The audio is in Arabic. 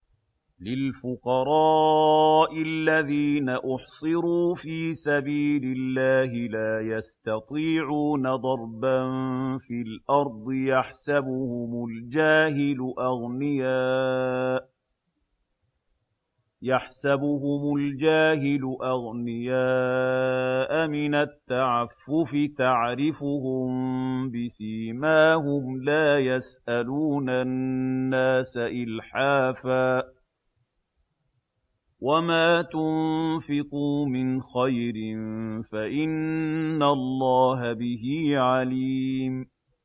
لِلْفُقَرَاءِ الَّذِينَ أُحْصِرُوا فِي سَبِيلِ اللَّهِ لَا يَسْتَطِيعُونَ ضَرْبًا فِي الْأَرْضِ يَحْسَبُهُمُ الْجَاهِلُ أَغْنِيَاءَ مِنَ التَّعَفُّفِ تَعْرِفُهُم بِسِيمَاهُمْ لَا يَسْأَلُونَ النَّاسَ إِلْحَافًا ۗ وَمَا تُنفِقُوا مِنْ خَيْرٍ فَإِنَّ اللَّهَ بِهِ عَلِيمٌ